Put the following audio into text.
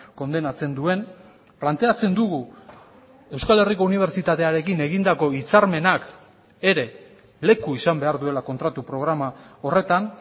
kondenatzen duen planteatzen dugu euskal herriko unibertsitatearekin egindako hitzarmenak ere leku izan behar duela kontratu programa horretan